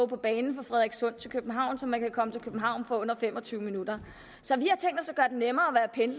på banen fra frederikssund til københavn så man kan komme til københavn på under fem og tyve min så vi